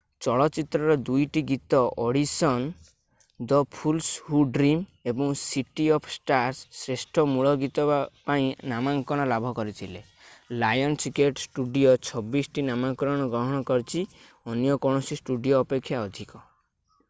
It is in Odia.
ଚଳଚ୍ଚିତ୍ରର 2ଟି ଗୀତ audition the fools who dream ଏବଂ ସିଟି ଅଫ୍ ଷ୍ଟାର୍ସ ଶ୍ରେଷ୍ଠ ମୂଳ ଗୀତ ପାଇଁ ନାମାଙ୍କନ ଲାଭ କରିଥିଲେ। ଲାୟନ୍ସଗେଟ୍ ଷ୍ଟୁଡିଓ 26 ଟି ନାମାଙ୍କନ ଗ୍ରହଣ କରିଛି - ଅନ୍ୟ କୌଣସି ଷ୍ଟୁଡିଓ ଅପେକ୍ଷା ଅଧିକ।